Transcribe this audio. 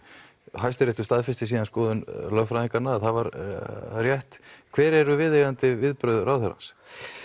Hæstiréttur staðfesti síðan skoðun lögfræðingana að það var rétt hver eru viðeigandi viðbrögð ráðherrans